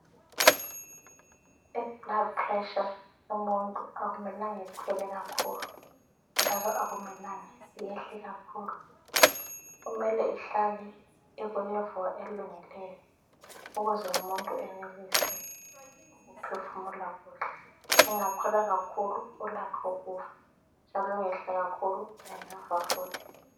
Iblood pressure yomuntu akumelanga ikhwele kakhulu ,njalo akumelanga yehle kakhulu, kumele ihlale Iku level elungileyo ukuze umuntu enelise ukuphefumula kuhle ,ingakhwela kakhulu ulakho ukufa njalo ingehla kakhulu engafa futhi